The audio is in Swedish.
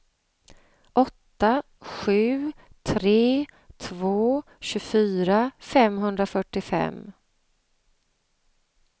åtta sju tre två tjugofyra femhundrafyrtiofem